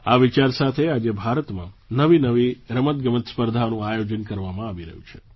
આ વિચાર સાથે આજે ભારતમાં નવીનવી રમતગમત સ્પર્ધાઓનું આયોજન કરવામાં આવી રહ્યું છે